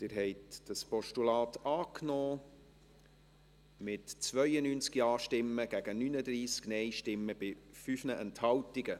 Sie haben dieses Postulat angenommen, mit 92 Ja- gegen 39 Nein-Stimmen bei 5 Enthaltungen.